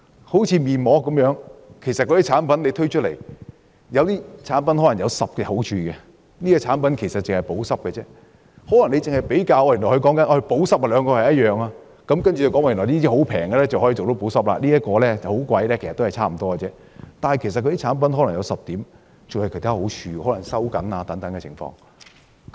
好像測試面膜，有些面膜產品可能有10種好處，有些面膜產品可能只是補濕，如果只比較補濕程度，兩者可能一樣，價格低的可以做到補濕，價格高的補濕效果也可能差不多，只是那些產品可能還有其他好處，例如有修緊皮膚的功效。